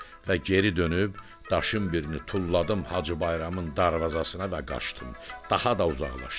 Və geri dönüb daşın birini tulladım Hacı Bayramın darvazasına və qaçdım, daha da uzaqlaşdım.